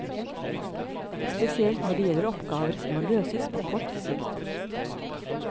Spesielt når det gjelder oppgaver som må løses på kort sikt.